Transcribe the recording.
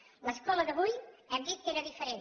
l’escola d’avui hem dit que era diferent